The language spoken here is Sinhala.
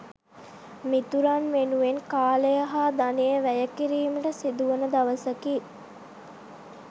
මිතුරන් වෙනුවෙන් කාලය හා ධනය වැය කිරීමට සිදුවන දවසකි.